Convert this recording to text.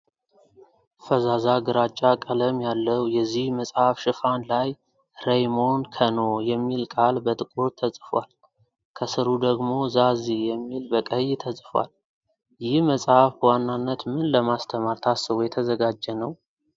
ፈዛዛ ግራጫ ቀለም ያለው የዚህ መጽሐፍ ሽፋን ላይ "ረይሞን ከኖ" የሚል ቃል በጥቁር ተጽፏል። ከስሩ ደግሞ "ዛዚ" የሚል በቀይ ተጽፏል፣ ይህ መጽሐፍ በዋናነት ምን ለማስተማር ታስቦ የተዘጋጀ ነው?